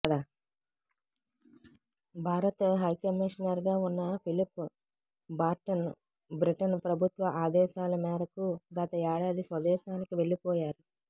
భారత్ హైకమిషనర్గా ఉన్న Philip Barton Britain ప్రభుత్వ ఆదేశాల మేరకు గత ఏడాది స్వదేశానికి వెళ్లిపోయారు